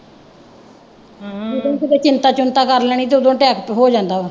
ਜਦੋਂ ਕਿਤੇ ਚਿੰਤਾ ਚੁੰਤਾ ਕਰ ਲੈਣੀ ਤੇ ਉਦੋਂ attack ਹੋ ਜਾਂਦਾ ਵਾ